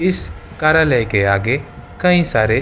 इस कार्यालय के आगे कई सारे